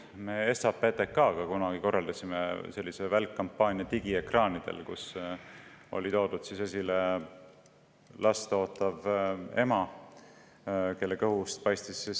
Me SAPTK-ga korraldasime kunagi ühe välkkampaania digiekraanidel, kus oli last ootavat ema, kelle kõhust paistis beebi.